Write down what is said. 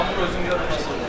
Hə, bu özüm yox oldum.